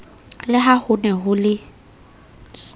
le ha hone ho le